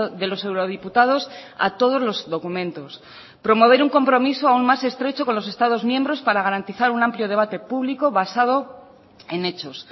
de los eurodiputados a todos los documentos promover un compromiso aún más estrecho con los estados miembros para garantizar un amplio debate público basado en hechos